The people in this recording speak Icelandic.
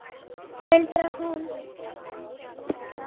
muldrar hún.